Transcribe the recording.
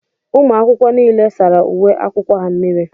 Ụmụ akwụkwọ nile sárá uwe akwụkwọ ha mmírí.